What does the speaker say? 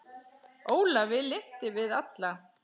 Ólafi lynti við alla